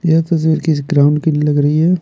ये तो किस ग्राउंड की लग रही है।